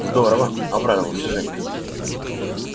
здорово обрадовался женька